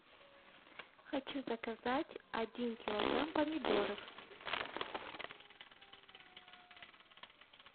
хочу заказать один килограмм помидоров